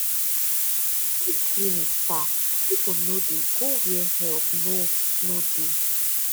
if clinic far people no dey go where help no no dey